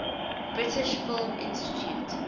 british film institute